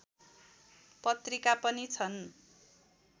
पत्रिका पनि छन्